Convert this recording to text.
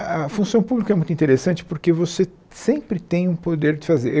A função pública é muito interessante porque você sempre tem um poder de fazer.